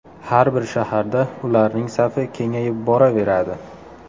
Har bir shaharda ularning safi kengayib boraveradi.